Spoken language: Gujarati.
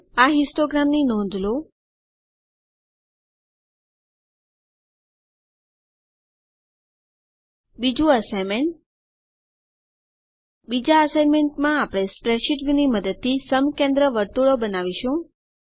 નોંધ લો અહીં હિસ્ટોગ્રામ બીજું અસાઇનમેન્ટ બીજા અસાઇનમેન્ટમાં આપણે સ્પ્રેડશીટવ્યુની મદદથી સમકેન્દ્ર વર્તુળો બનાવીશું